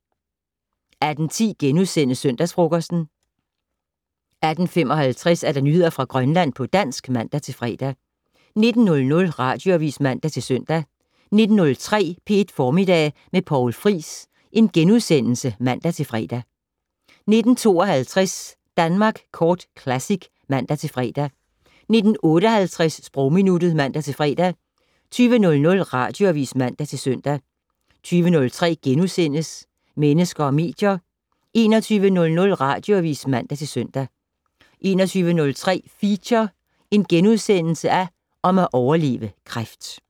18:10: Søndagsfrokosten * 18:55: Nyheder fra Grønland på dansk (man-fre) 19:00: Radioavis (man-søn) 19:03: P1 Formiddag med Poul Friis *(man-fre) 19:52: Danmark Kort Classic (man-fre) 19:58: Sprogminuttet (man-fre) 20:00: Radioavis (man-søn) 20:03: Mennesker og medier * 21:00: Radioavis (man-søn) 21:03: Feature: Om at overleve kræft *